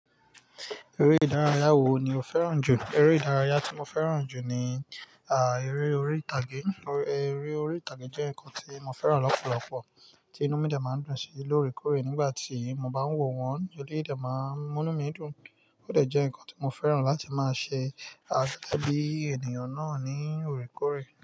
Eré ìdárayá wo ni o fẹ́ràn jù? Eré ìdárayá tí mo fẹ́ràn jù ni, à, eré orí ìtàgé. Eré orí ìtàgé jẹ́ nǹkan tí mo fẹ́ràn lọ́pọ̀lọpọ̀ tí inú mi dà máa ń dùn sí lórí kòrè nígbà tí mo bá ń wò wọ́n. Odí de máa ń múnú mi dùn, ó de jẹ́ nǹkan tí mo fẹ́ràn láti máa ṣe, à, ṣẹ́ bí ènìyàn náà ní orékòrè.